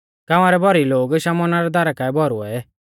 गाँवा रै भौरी लोग शमौना रै दारा काऐ भौरुऐ